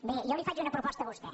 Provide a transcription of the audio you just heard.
bé jo li faig una proposta a vostè